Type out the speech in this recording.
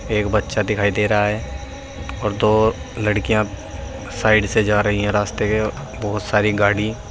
एक बच्चा दिखाई दे रहा है और दो लड़कियां साइड से जा रही है रास्ते में बहोत सारी गाड़ी।